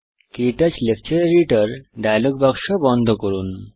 ক্টাচ lecture editor dialog বাক্স বন্ধ করুন